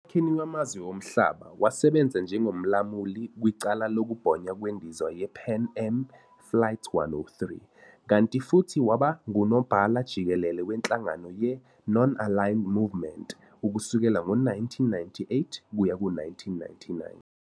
Emkhakheni wamazwe omhlaba, wasebenza njengomlamuli kwicala lokubhonywa kweNdiza ye-Pan Am Flight 103, kanti futhi waba nguNobhala-Jikelele wenhlangano ye-Non-Aligned Movement ukusukela ngo-1998 kuya ku 1999.